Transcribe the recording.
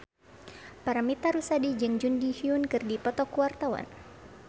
Paramitha Rusady jeung Jun Ji Hyun keur dipoto ku wartawan